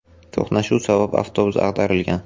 To‘qnashuv sabab avtobus ag‘darilgan.